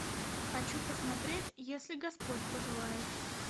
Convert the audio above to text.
хочу посмотреть если господь пожелает